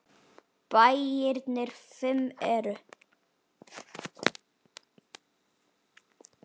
Bæirnir fimm eru